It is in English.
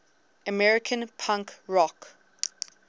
american punk rock